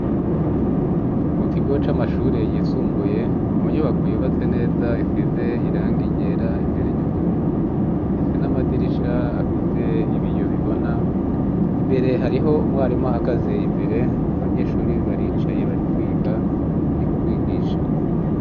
Mu kigo c'amashuri yisumbuye mu nyubako yubatse neza isize irangi ryera ra imbere y'ubururu ifise n'amadirisha afise ibiyo bibona imbere hariho umwarimu ahagaze imbere abanyeshuri baricaye barikwiga ari kubigisha.